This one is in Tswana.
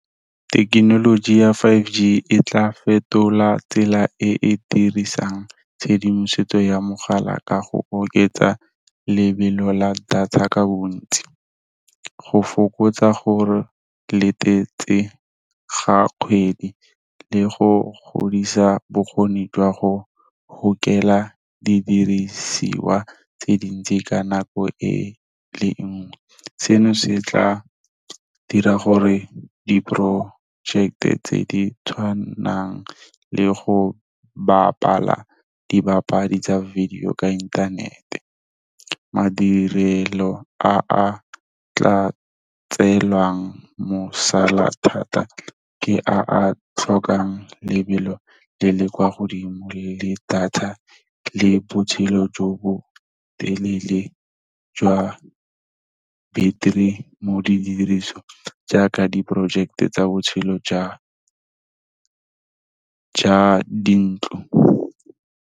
Thekenoloji ya five g e tla fetola tsela e e dirisang tshedimosetso ya mogala ka go oketsa lebelo la data ka bontsi, go fokotsa gore latetse ga kgwedi, le go godisa bokgoni jwa go gokela di dirisiwa tse dintsi ka nako e le nngwe. Seno se tla dira gore di- project-e tse di tshwanang le go bapala dipapadi tsa video ka inthanete. Madirelo a a tla tseewelang mosola thata, ke a tlhokang lebelo le le kwa godimo, le data le botshelo jo bo telele jwa battery mo didirisweng jaaka di project-e tsa botshelo ja dintlo.